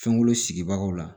Fɛnko sigibagaw la